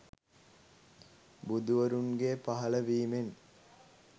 බුදුවරුන්ගේ පහළවීමෙන්